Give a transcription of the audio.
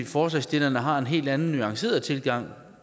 forslagsstillerne har en helt anden nuanceret tilgang